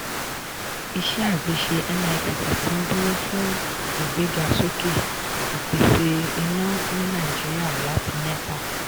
iṣẹ́ àgbéṣe nipp ti ń dúró fún ìgbéga sókè ìpèsè iná ní nàìjíríà láti nepa.